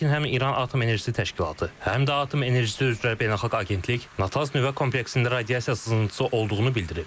Lakin həm İran Atom Enerjisi Təşkilatı, həm də Atom Enerjisi üzrə Beynəlxalq Agentlik Natanz nüvə kompleksində radiasiya sızıntısı olduğunu bildirib.